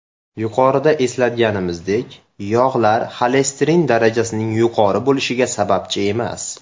Yuqorida eslatganimizdek, yog‘lar xolesterin darajasining yuqori bo‘lishiga sababchi emas.